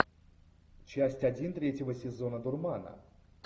часть один третьего сезона дурмана